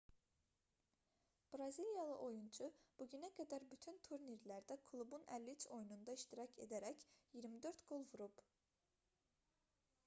braziliyalı oyunçu bu günə qədər bütün turnirlərdə klubun 53 oyununda iştirak edərək 24 qol vurub